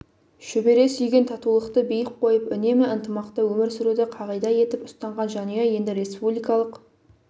шөбере сүйген татулықты биік қойып үнемі ынтымақта өмір сүруді қағида етіп ұстанған жанұя енді республикалық